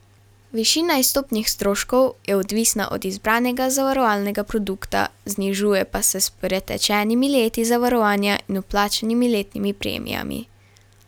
Višina izstopnih stroškov je odvisna od izbranega zavarovalnega produkta, znižuje pa se s pretečenimi leti zavarovanja in vplačanimi letnimi premijami.